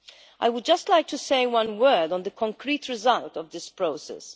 I would just like to say one word on the concrete result of this process.